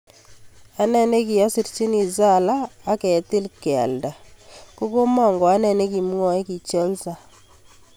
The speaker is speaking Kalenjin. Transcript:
Ane nikiyasirchini Salah ak ketil kealda kokomokoane nikwamwae, ki Chelsea.